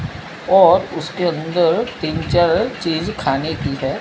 और उसके अंदर तीन चार चीज खाने की है।